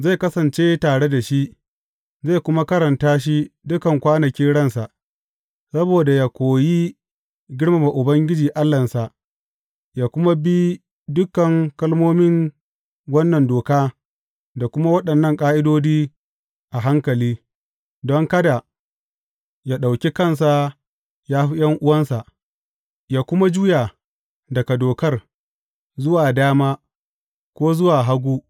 Zai kasance tare da shi, zai kuma karanta shi dukan kwanakin ransa, saboda yă koyi girmama Ubangiji Allahnsa, yă kuma bi dukan kalmomin wannan doka da kuma waɗannan ƙa’idodi a hankali don kada yă ɗauki kansa ya fi ’yan’uwansa, yă kuma juya daga dokar zuwa dama, ko zuwa hagu.